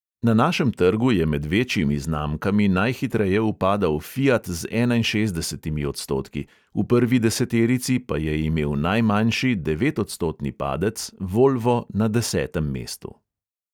Na našem trgu je med večjimi znamkami najhitreje upadal fiat z enainšestdesetimi odstotki, v prvi deseterici pa je imel najmanjši devetodstotni padec volvo na desetem mestu.